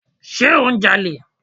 Sé ò ń ja'lè?